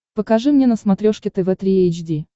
покажи мне на смотрешке тв три эйч ди